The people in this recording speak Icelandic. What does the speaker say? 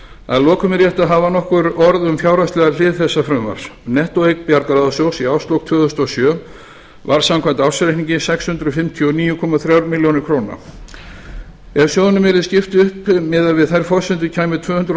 að lokum er rétt að hafa nokkur orð um fjárhagslega hlið þessa frumvarps nettóeign bjargráðasjóðs í árslok tvö þúsund og sjö var samkvæmt ársreikningi sex hundruð fimmtíu og níu komma þremur milljónum króna ef sjóðnum yrði skipt upp miðað við þær forsendur kæmu tvö hundruð og